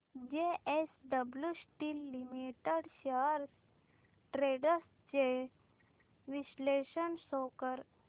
JSW steel limited shares trends चे विश्लेषण show कर